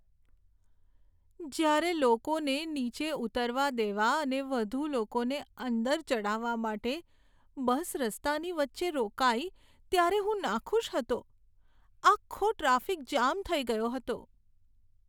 જ્યારે લોકોને નીચે ઉતરવા દેવા અને વધુ લોકોને અંદર ચઢાવવા માટે બસ રસ્તાની વચ્ચે રોકાઈ ત્યારે હું નાખુશ હતો. આખો ટ્રાફિક જામ થઈ ગયો હતો.